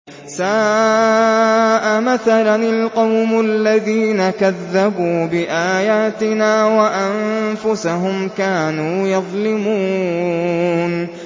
سَاءَ مَثَلًا الْقَوْمُ الَّذِينَ كَذَّبُوا بِآيَاتِنَا وَأَنفُسَهُمْ كَانُوا يَظْلِمُونَ